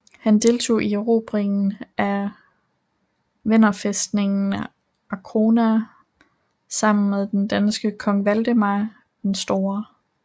Han deltog i erobringen af venderfæstningen Arkona sammen med den danske kong Valdemar I den Store